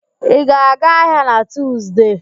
Ị ga-aga ahịa na Tuuzde?